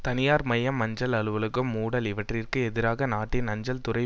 தனியார் மயம் அஞ்சல் அலுவலகம் மூடல் இவற்றிற்கு எதிராக நாட்டின் அஞ்சல் துறை